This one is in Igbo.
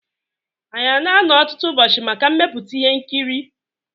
Anyị ana-anọ ọtụtụ ụbọchị maka mmepụta ihe nkiri?